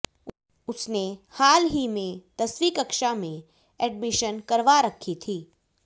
उसने हाल ही में दसवीं कक्षा में एडमिशन करवा रखी थी